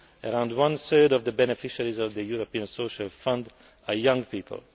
Around one third of the beneficiaries of the European Social Fund are young people.